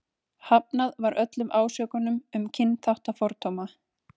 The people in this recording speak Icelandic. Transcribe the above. Hafnað var öllum ásökunum um kynþáttafordóma.